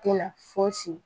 Tɛ na fosi